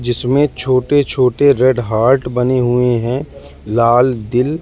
जिसमें छोटे छोटे रेड हार्ट बने हुए हैं लाल दिल--